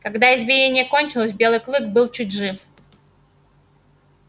когда избиение кончилось белый клык был чуть жив